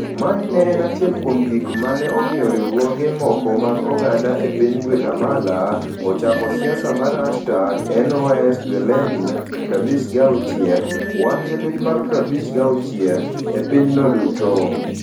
Mani ne en achiel kuom gik ma ne omiyo riwruoge moko mag oganda e piny Guatemala ochako siasa mar #NosDuelen56 ("wan gi lit mar 56 ") e pinyno duto.